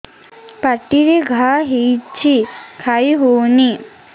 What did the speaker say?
ପାଟିରେ ଘା ହେଇଛି ଖାଇ ହଉନି